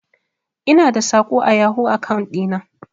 Ina da saƙo a yahoo akaun ɗi na.